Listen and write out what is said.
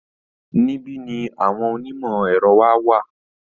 Níbí ni àwọn onímọ̀ ẹ̀rọ wa wà